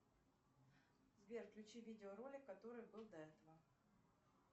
сбер включи видеоролик который был до этого